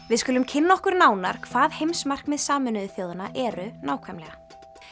við skulum kynna okkur nánar hvað heimsmarkmið Sameinuðu þjóðanna eru nákvæmlega